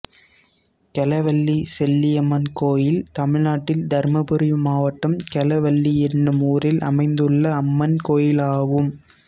கெலவள்ளி செல்லியம்மன் கோயில் தமிழ்நாட்டில் தர்மபுரி மாவட்டம் கெலவள்ளி என்னும் ஊரில் அமைந்துள்ள அம்மன் கோயிலாகும்